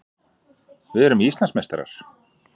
Við erum Íslandsmeistarar!